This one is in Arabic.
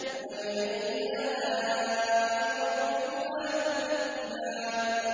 فَبِأَيِّ آلَاءِ رَبِّكُمَا تُكَذِّبَانِ